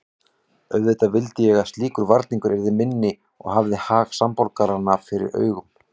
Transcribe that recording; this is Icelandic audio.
Auðvitað vildi ég að slíkur varningur yrði minni og hafði hag samborgaranna fyrir augum.